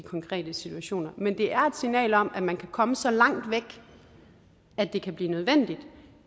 konkrete situationer men det er et signal om at man kan komme så langt væk at det kan blive nødvendigt